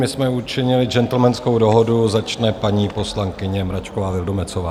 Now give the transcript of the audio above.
My jsme učinili gentlemanskou dohodu, začne paní poslankyně Mračková Vildumetzová.